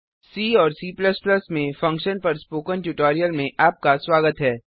सी और C में functions पर स्पोकन ट्यूटोरियल में आपका स्वागत है